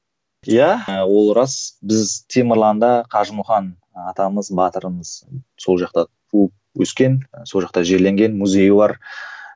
иә ол рас біз темірланда қажымұқан атамыз батырымыз сол жақта туып өскен сол жақта жерленген музейі бар